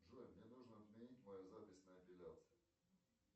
джой мне нужно отменить мою запись на эпиляцию